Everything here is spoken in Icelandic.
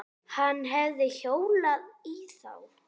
Hann hefði hjólað í þá.